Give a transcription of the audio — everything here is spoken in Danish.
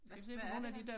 Hvad hvad er det her?